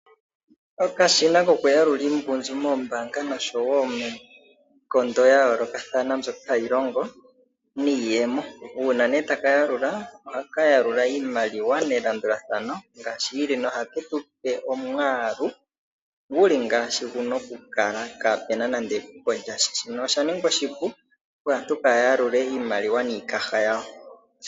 Okashina kokuyalula iimaliwa moombaanga nosho wo miikondo yayoolokathana mbyoka hayi longo niiyemo, uuna nee taka yalula ohaka yalula iimaliwa melandulathano ngaashi yili, noha ketu pe omwaalu guli ngaashi guna kukala kapena nande epuko lyasha, shino osha ningwa oshipu opo aantu kaya yalule iimaliwa niikaha yawo.